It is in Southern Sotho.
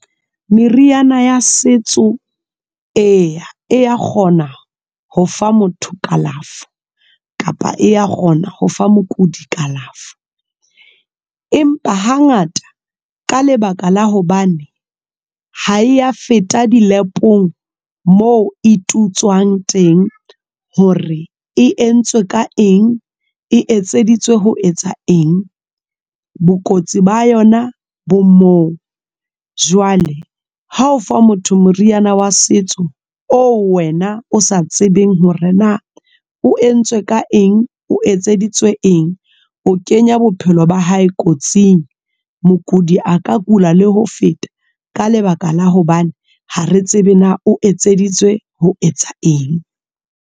Meriana ya setso eya, eya kgona ho fa motho kalafo kapa eya kgona ho fa mookodi kalafo empa ha ngata ka lebaka la hobane ha e ya feta dilapong moo e tutswang teng hore e entswe ka eng e etseditswe ho etsa eng, bokotsi ba yona bo moo. Jwale ha ofa motho moriana wa setso oo wena o sa tsebeng hore na o entswe ka eng. O etseditswe eng o kenya bophelo ba hae kotsing. Mokudi a ka kula le ho feta ka lebaka la hobane ha re tsebe na o etseditswe ho etsa eng.